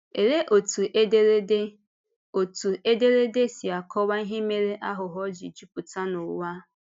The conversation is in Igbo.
Òlee otú ederede otú ederede si akọwa ihe mere àghụ̀ghọ̀ ji jupụta n'ụwa?